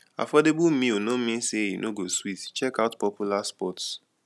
affordable meal no mean say e no go sweet check out popular spots